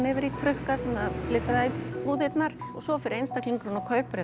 yfir í trukka sem flytja það í búðirnar og svo fer einstaklingurinn og kaupir